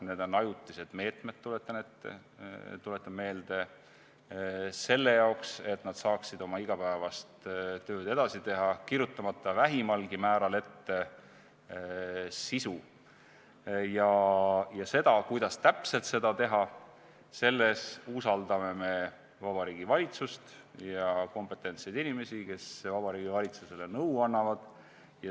Need on ajutised meetmed, tuletan meelde, selle jaoks, et nad saaksid oma igapäevast tööd edasi teha, kirjutamata vähimalgi määral ette sisu ja seda, kuidas täpselt seda teha, selles usaldame me Vabariigi Valitsust ja kompetentseid inimesi, kes Vabariigi Valitsusele nõu annavad.